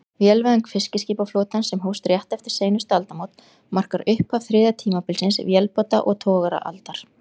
Vélvæðing fiskiskipaflotans, sem hófst rétt eftir seinustu aldamót, markar upphaf þriðja tímabilsins, vélbáta- og togaraaldar.